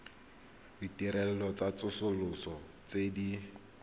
ditirelo tsa tsosoloso tse di